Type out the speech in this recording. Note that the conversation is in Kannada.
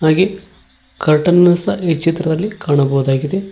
ಹಾಗೆ ಕರ್ಟನ್ ನ ಸಹ ಇ ಚಿತ್ರದಲ್ಲಿ ಕಾಣಬಹುದಾಗಿದೆ.